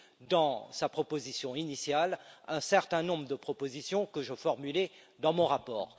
dans sa proposition initiale, un certain nombre de propositions que je formulais dans mon rapport.